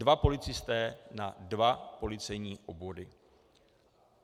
Dva policisté na dva policejní obvody.